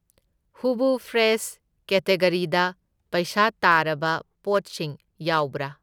ꯍꯨꯕꯨ fresh ꯀꯦꯇꯒꯔꯤꯗ ꯄꯩꯁꯥ ꯇꯥꯔꯕ ꯄꯣꯠꯁꯤꯡ ꯌꯥꯎꯕ꯭ꯔꯥ?